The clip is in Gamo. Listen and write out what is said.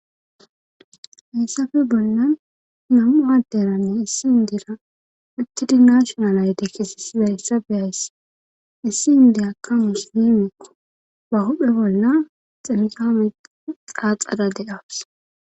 hayssafe bolnan nam7u adderanne issi indira mittidi naashonalayde kessisida essabeyayss issi indi akamus dimekko ba huphe bolla xemikame xaaxada de7awus